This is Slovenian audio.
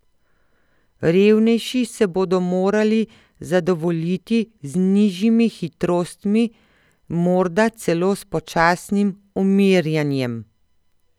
Revnejši se bodo morali zadovoljiti z nižjimi hitrostmi, morda celo s počasnim umirjanjem.